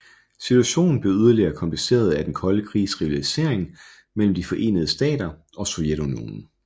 Situationen blev yderligere kompliceret af Den kolde krigs rivalisering mellem De forenede Stater og Sovjetunionen